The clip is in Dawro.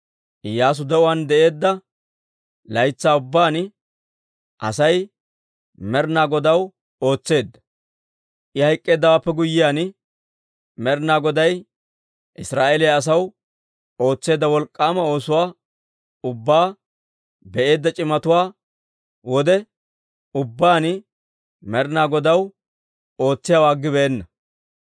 Iyyaasu de'uwaan de'eedda laytsaa ubbaan Asay Med'inaa Godaw ootseedda; I hayk'k'eeddawaappe guyyiyaan, Med'inaa Goday Israa'eeliyaa asaw ootseedda wolk'k'aama oosuwaa ubbaa be'eedda c'imatuwaa wode ubbaan Med'inaa Godaw ootsiyaawaa aggibeenna.